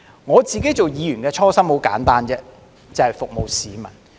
我作為議員的初心很簡單，就是服務市民。